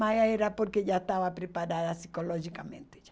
Mas era porque já estava preparada psicologicamente já.